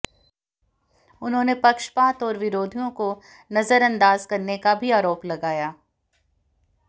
उन्होंने पक्षपात और विरोधियों को नजरअंदाज करने का भी आरोप लगाया